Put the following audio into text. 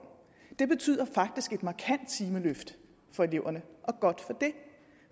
det betyder faktisk et markant timeløft for eleverne og godt